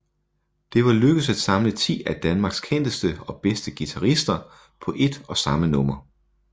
Det var lykkedes at samle ti af Danmarks kendteste og bedste guitarister på ét og samme nummer